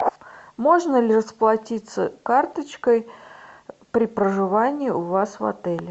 можно ли расплатиться карточкой при проживании у вас в отеле